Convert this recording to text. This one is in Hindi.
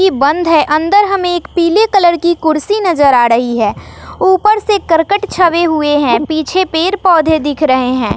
की बंद है अंदर हमें एक पीले कलर की कुर्सी नजर आ रही है ऊपर से करकट छवे हुए हैं पीछे पेड़ पौधे दिख रहे हैं।